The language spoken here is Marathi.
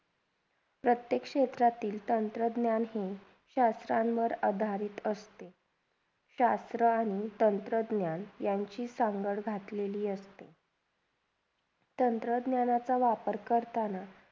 प्रत्येक क्षेत्रातील तंत्रज्ञानही शासकांवर आधारित असते शासर आणि तंत्रज्ञान यांची सांगळ घातलेली असते तंत्रज्ञानाचा वापर करताना.